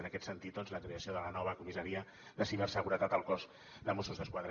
en aquest sentit doncs la creació de la nova comissaria de ciberseguretat al cos de mossos d’esquadra